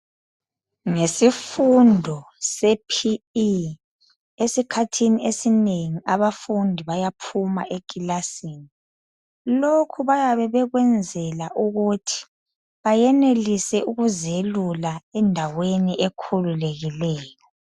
Ngesifundo sePE, esikhathini esinengi abafundi bayaphuma ekilasini. Lokhu bayabe bekwenzela ukuthi bayenelise ukuzelula endaweni ekhululekileyo.